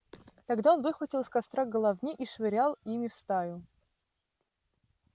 тогда он выхватывал из костра головни и швырял ими в стаю